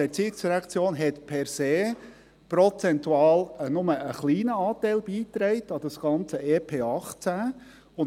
Die ERZ hat per se prozentual nur einen kleinen Anteil an das ganze EP 2018 beigetragen.